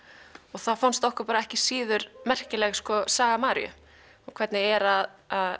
þá fannst okkur ekki síður merkileg saga Maríu og hvernig er að